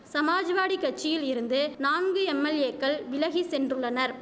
சமாஜ்வாடி கட்சியில் இருந்து நான்கு எம்எல்ஏக்கள் விலகி சென்றுள்ளனர்